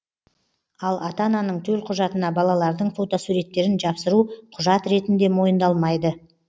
ал ата ананың төлқұжатына балалардың фотосуреттерін жапсыру құжат ретінде мойындалмайды